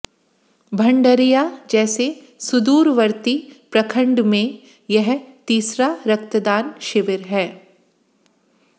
भंडरिया जैसे सुदूरवर्ती प्रखंड में यह तीसरा रक्तदान शिविर है